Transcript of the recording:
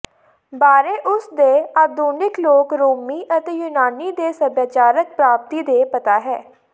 ਬਾਰੇ ਉਸ ਦੇ ਆਧੁਨਿਕ ਲੋਕ ਰੋਮੀ ਅਤੇ ਯੂਨਾਨੀ ਦੀ ਸਭਿਆਚਾਰਕ ਪ੍ਰਾਪਤੀ ਦੇ ਪਤਾ ਹੈ